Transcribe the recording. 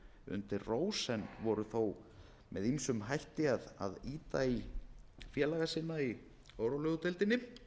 undir rós en voru þó með ýmsum hætti að ýta í félaga sína í órólegu deildinni